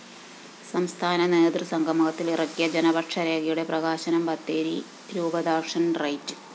സംസ്ഥാന നേതൃസംഗമത്തില്‍ ഇറക്കിയ ജനപക്ഷരേഖയുടെ പ്രകാശനം ബത്തേരി രൂപതാക്ഷന്‍ റൈറ്റ്‌